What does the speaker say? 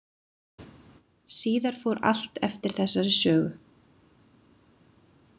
Síðar fór allt eftir þessari sögu.